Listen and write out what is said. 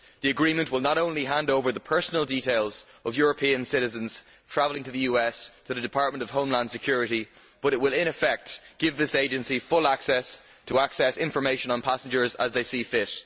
The agreement will not only hand over the personal details of European citizens travelling to the US to the Department of Homeland Security, but it will in effect give this agency free rein to access information on passengers as they see fit.